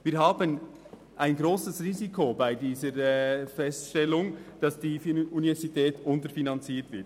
Es besteht ein grosses Risiko, dass die Universität unterfinanziert wird.